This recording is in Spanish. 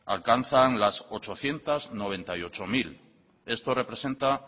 alcanzan las ochocientos noventa y ocho mil esto representa